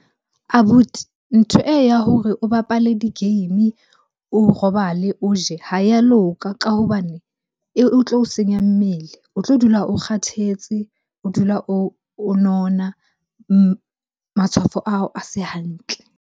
Abuti, ntho e ya hore o bapale di-game, o robale, o je ha ya loka ka hobane e tlo o senya mmele. O tlo dula o kgathetse, o dula o nona, matshwafo a hao a se hantle.